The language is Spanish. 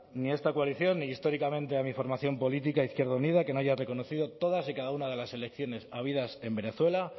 ni a esta coalición ni históricamente a mi formación política izquierda unida que no haya reconocido todas y cada una de las elecciones habidas en venezuela